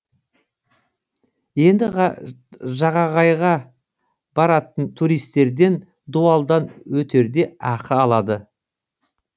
енді жағағайға баратын туристерден дуалдан өтерде ақы алады